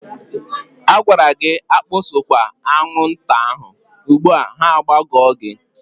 A gwara gị akpasokwa aṅwụnta ahụ, ugbua ha agbago gị!